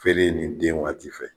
Feere ni den waati fɛ